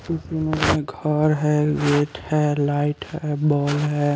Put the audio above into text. घर है गेट है लाइट है बॉल है।